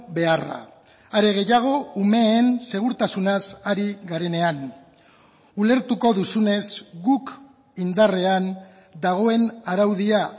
beharra are gehiago umeen segurtasunaz ari garenean ulertuko duzunez guk indarrean dagoen araudia